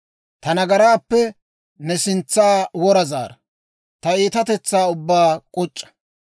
Ta nagaraappe ne sintsa wora zaara; ta iitatetsaa ubbaa k'uc'c'a.